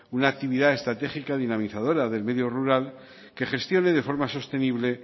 una actividad estratégica dinamizadora del medio rural que gestione de forma sostenible